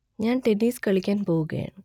ഞാൻ ടെന്നീസ് കളിക്കാൻ പോവുകയാ